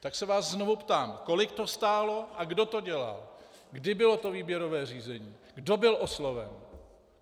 Tak se vás znovu ptám: Kolik to stálo a kdo to dělal, kdy bylo to výběrové řízení, kdo byl osloven?